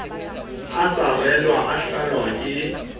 a sarelwa o tlallwa ke